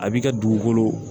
A b'i ka dugukolo